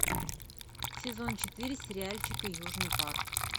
сезон четыре сериальчика южный парк